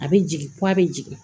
A bɛ jigin ko a bɛ jigin